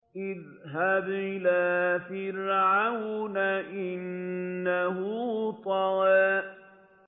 اذْهَبْ إِلَىٰ فِرْعَوْنَ إِنَّهُ طَغَىٰ